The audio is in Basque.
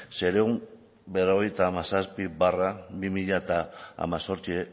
seiehun eta berrogeita hamazazpi barra bi mila hemezortzi